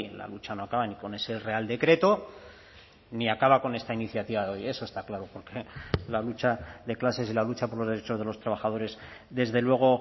la lucha no acaba ni con ese real decreto ni acaba con esta iniciativa de hoy eso está claro porque la lucha de clases y la lucha por los derechos de los trabajadores desde luego